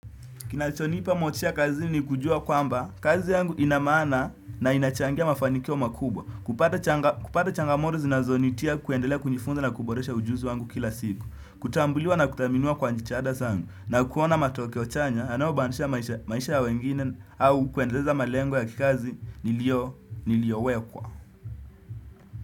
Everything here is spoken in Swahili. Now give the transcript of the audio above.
Kinachonipa motisha kazini ni kujua kwamba kazi yangu ina maana na inachangia mafanikio makubwa. Kupata changamoto zinazonitia kuendelea kunifunza na kuboresha ujuzi wangu kila siku. Kutambuliwa na kuthaminua kwa jitihada sangu. Na kuona matokeo chanya yanayobadilisha maisha ya wengine au kuendeleza malengo ya kikazi niliowekwa.